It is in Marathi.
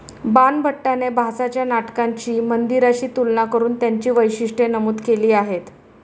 बाणभट्टाने भासाच्या नाटकांची मंदिराशी तुलना करून त्यांची वैशिष्ट्ये नमूद केली आहेत.